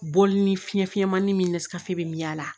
Bɔli ni fiɲɛ fiɲɛmani min na sikafo bɛ y'a la